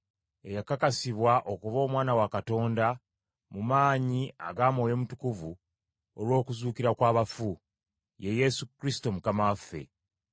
eyakakasibwa okuba Omwana wa Katonda mu maanyi aga Mwoyo Mutukuvu olw’okuzuukira kw’abafu, ye Yesu Kristo Mukama waffe.